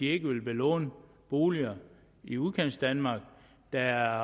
ikke vil belåne boliger i udkantsdanmark der